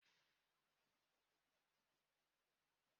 Anaghị m enye gị mmanya nkwụ ọ bụla